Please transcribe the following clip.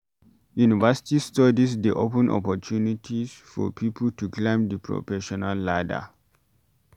University Studies dey open opportunity for pipo to climb di professional ladder